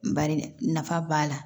Bari nafa b'a la